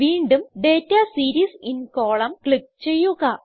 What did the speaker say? വീണ്ടും data series in column click ചെയ്യുക